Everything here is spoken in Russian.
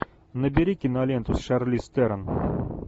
набери киноленту с шарлиз терон